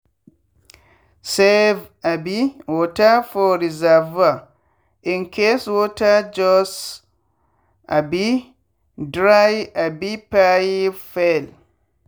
save um water for reservoir incase water just um dry abi pipe fail.